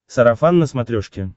сарафан на смотрешке